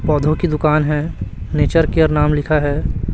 पौधों की दुकान है नेचर केयर नाम लिखा है।